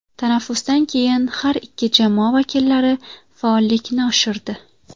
Tanaffusdan keyin har ikki jamoa vakillari faollikni oshirdi.